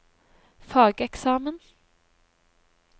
fageksamen